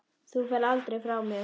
Þú ferð aldrei frá mér.